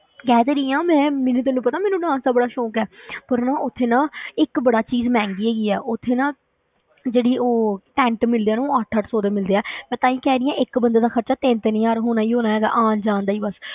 ਕਹਿ ਤੇ ਰਹੀ ਹਾਂ ਮੈਂ ਮੈਨੂੰ ਤੈਨੂੰ ਪਤਾ ਮੈਨੂੰ dance ਦਾ ਬੜਾ ਸੌਂਕ ਹੈ ਪਰ ਨਾ ਉੱਥੇ ਨਾ ਇੱਕ ਬੜਾ ਚੀਜ਼ ਮਹਿੰਗੀ ਹੈਗੀ ਹੈ, ਉੱਥੇ ਨਾ ਜਿਹੜੀ ਉਹ ਟੈਂਟ ਮਿਲਦੇ ਆ ਨਾ, ਉਹ ਅੱਠ ਅੱਠ ਸੌ ਦੇ ਮਿਲਦੇ ਆ ਮੈਂ ਤਾਂ ਹੀ ਕਹਿ ਰਹੀ ਹਾਂ, ਇੱਕ ਬੰਦੇ ਦਾ ਖ਼ਰਚਾ ਤਿੰਨ ਤਿੰਨ ਹਜ਼ਾਰ ਹੋਣਾ ਹੀ ਹੋਣਾ ਹੈਗਾ, ਆਉਣ ਜਾਣ ਦਾ ਹੀ ਬਸ,